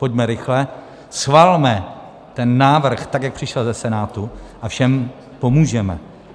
Pojďme rychle, schvalme ten návrh tak, jak přišel ze Senátu, a všem pomůžeme.